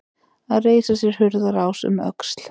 Að reisa sér hurðarás um öxl